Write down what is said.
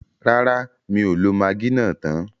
Rárá, mi ò lo magí náà tán.